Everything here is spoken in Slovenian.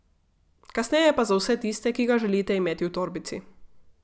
Kasneje pa za vse tiste, ki ga želite imeti v torbici.